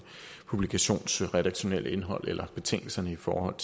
publikations redaktionelle indhold eller betingelserne i forhold